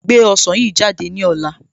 Gbé ọsàn yìí jáde ní ọ̀la